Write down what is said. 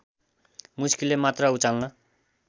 मुस्किलले मात्र उचाल्न